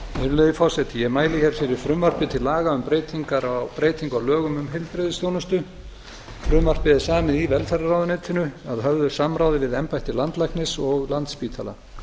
virðulegi forseti ég mæli hér fyrir frumvarpi til laga um breytingu á lögum um heilbrigðisþjónustu frumvarpið er samið í velferðarráðuneytinu að höfðu samráði við embætti landlæknis og landspítala